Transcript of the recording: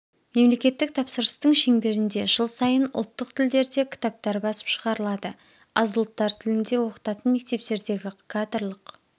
мемлекеттік тапсырыстың шеңберінде жыл сайын ұлттық тілдерде кітаптар басып шығарылады аз ұлттар тілінде оқытатын мектептердегі кадрлық